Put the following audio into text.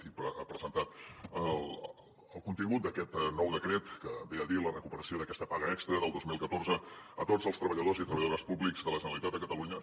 i ha presentat el contingut d’aquest nou decret que ve a dir la recuperació d’aquesta paga extra del dos mil catorze a tots els treballadors i treballadores públics de la generalitat de catalunya